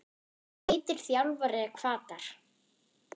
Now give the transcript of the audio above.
Hvað heitir þjálfari Hvatar?